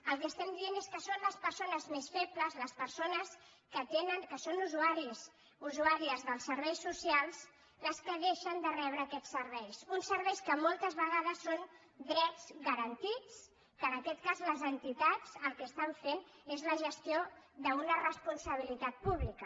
el que diem és que són les persones més febles les per·sones que són usuàries dels serveis socials les que deixen de rebre aquests serveis uns serveis que moltes vegades són drets garantits que en aquest cas les en·titats el que fan és la gestió d’una responsabilitat pú·blica